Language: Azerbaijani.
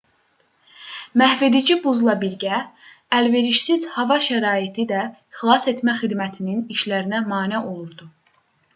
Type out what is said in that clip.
məhvedici buzla birgə əlverişsiz hava şəraiti də xilasetmə xidmətinin işlərinə mane olurdu